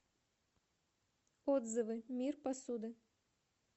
отзывы мир посуды